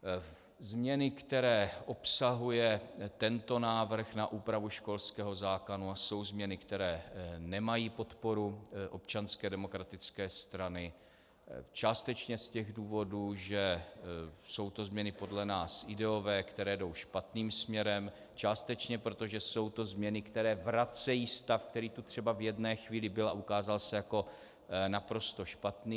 Změny, které obsahuje tento návrh na úpravu školského zákona, jsou změny, které nemají podporu Občanské demokratické strany částečně z těch důvodů, že jsou to změny podle nás ideové, které jdou špatným směrem, částečně proto, že jsou to změny, které vracejí stav, který tu třeba v jedné chvíli byl a ukázal se jako naprosto špatný.